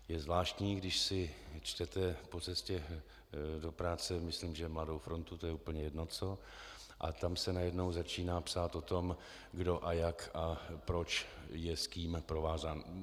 Je zvláštní, když si čtete po cestě do práce myslím že Mladou frontu, to je úplně jedno co, a tam se najednou začíná psát o tom, kdo a jak a proč je s kým provázán.